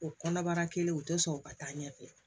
O kɔnɔbara kelen o tɛ sɔn ka taa ɲɛfɛ